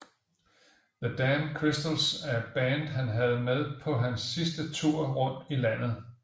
The Damn Crystals er det band han havde med på hans sidste tour rundt i landet